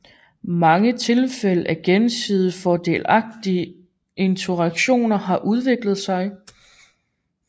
Mange tilfælde af gensidigt fordelagtige interaktioner har udviklet sig